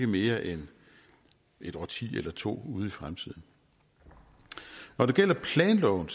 mere end et årti eller to ude i fremtiden når det gælder planloven